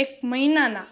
એક મહિના ના